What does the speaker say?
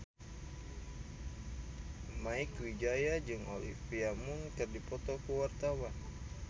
Mieke Wijaya jeung Olivia Munn keur dipoto ku wartawan